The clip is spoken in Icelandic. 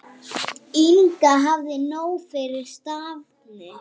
Inga hafði nóg fyrir stafni.